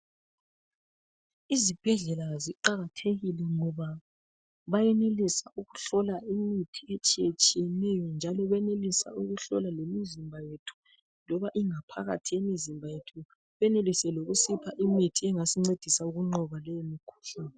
Izibhedlela ziqakathekile ngoba bayenelisa ukuhlola imithi etshiye tshiyeneyo njalo bayenelisa lokuhlola lemizimba yethu loba ingaphakathi yemizimba yethu benelise lokusipha imithi engasincedisa ukunqoba imikhuhlane .